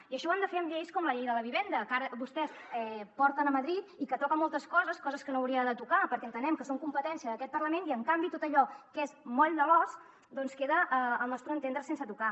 i això ho han de fer amb lleis com la llei de la vivenda que ara vostès porten a madrid i que toca moltes coses coses que no hauria de tocar perquè entenem que són competència d’aquest parlament i en canvi tot allò que és moll de l’os doncs queda al nostre entendre sense tocar